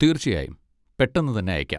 തീർച്ചയായും, പെട്ടെന്ന് തന്നെ അയക്കാം.